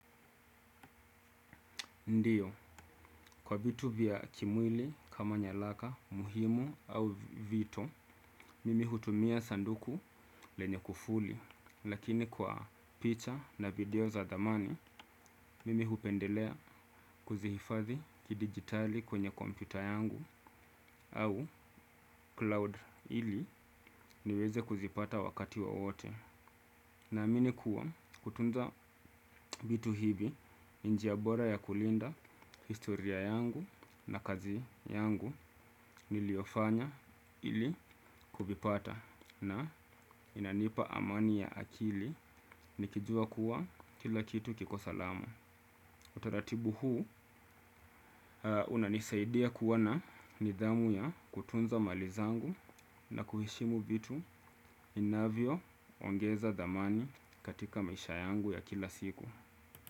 Ndio, kwa vitu vya kimwili kama nyalaka muhimu au vitu, mimi hutumia sanduku lenye kufuli, lakini kwa picha na video za thamani, mimi hupendelea kuzihifadhi kidigitali kwenye kompyuta yangu au cloud ili niweze kuzipata wakati wowote. Na amini kuwa kutunza vitu hivi ni njia bora ya kulinda historia yangu na kazi yangu niliyofanya ili kuvipata na inanipa amani ya akili nikijua kuwa kila kitu kiko salama. Utaratibu huu hunanisaidia kuwa na nidhamu ya kutunza mali zangu na kuheshimu vitu vinavyo ongeza thamani katika maisha yangu ya kila siku.